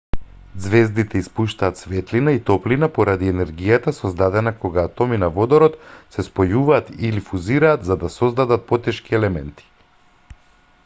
ѕвездите испуштаат светлина и топлина поради енергијата создадена кога атоми на водород се спојуваат или фузираат за да создадат потешки елементи